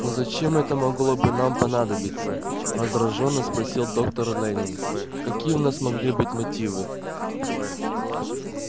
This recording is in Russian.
но зачем это могло бы нам понадобиться раздражённо спросил доктор лэннинг какие у нас могли быть мотивы